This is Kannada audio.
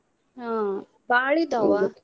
ಹಾ ಭಾಳ್ ಇದಾವ.